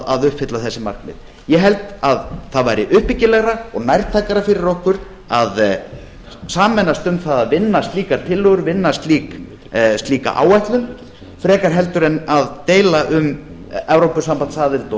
að uppfylla þessi markmið ég held að það væri uppbyggilegra og nærtækara fyrir okkur að sameinast um það að vinna slíkar tillögur vinna slíka áætlun frekar heldur en að deila um evrópusambandsaðild og